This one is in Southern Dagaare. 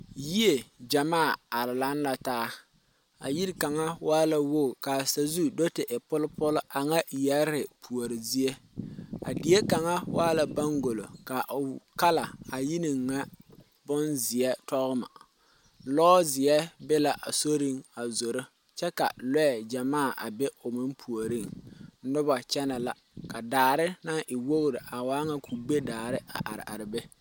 Yie gyamaa are laŋ la taa yiri kaŋa waa la wogi ka a sazu te e polpol aŋa yɛree puori zie a die kaŋa waa la baŋgulo ka o kala a yini ŋa boŋ zie toŋma lozeɛ be la a soriŋ a zoro kyɛ ka loɛ gyamaa a be o meŋ puoriŋ noba kyɛnɛ la ka daare naŋ e wogri a waa ŋa kubedaare a are are be.